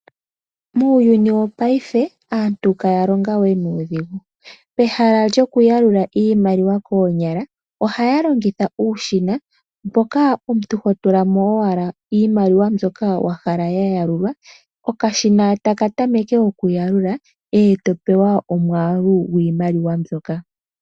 Muuyuni wopaife aantu ihaya longo we nuudhigu. Pehala lyokuyalula iimaliwa koonyala ohaya longitha uushina mboka omuntu ho tula mo owala iimaliwa mbyoka wa hala ya yalukwa okashina taka tameke okuyalula e to pewa omwaalu gwiimaliwa mbyoka.